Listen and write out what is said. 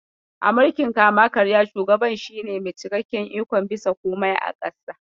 A mulkin kama-karya, shugaban shi ne mai cikakken ikon bisa komai a ƙasa.